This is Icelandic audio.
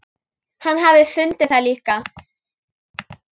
Hann hafi fundið það líka.